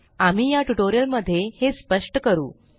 आम्ही या ट्यूटोरियल मध्ये हे स्पष्ट करू